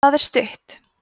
það er stutt